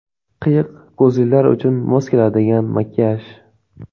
Qiyiq ko‘zlilar uchun mos keladigan makiyaj.